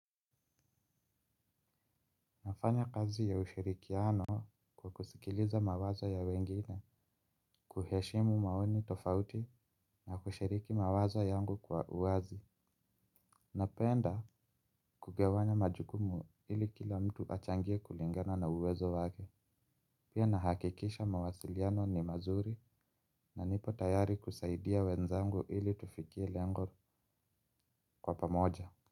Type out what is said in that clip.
Nafanya kazi ya ushirikiano. Kwa kusikiliza mawazo ya wengine, kuheshimu maoni tofauti na kushiriki mawazo yangu kwa uwazi. Napenda, kugawanya majukumu ili kila mtu achangie kulingana na uwezo wake. Pia nahakikisha mawasiliano ni mazuri na nipo tayari kusaidia wenzangu ili tufikie lengo kwa pamoja.